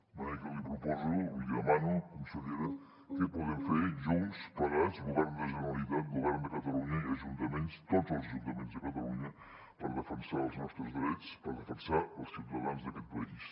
de manera que li proposo li demano consellera què podem fer junts plegats govern de generalitat govern de catalunya i ajuntaments tots els ajuntaments de catalunya per defensar els nostres drets per defensar els ciutadans d’aquest país